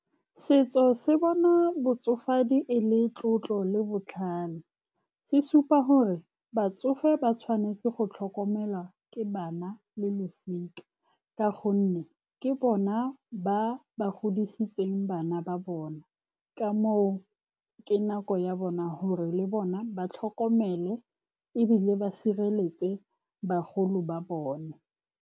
Setso se bona botsofe madi e le tlotlo le botlhale. Se supa gore batsofe ba tshwanetse go tlhokomelwa ke bana le losika, ka gonne ke bona ba ba godisitseng bana ba bona. Ka moo, ke nako ya bona hore le bona ba tlhokomele ebile ba sireletse bagolo ba bone.